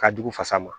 Ka jugu fasa ma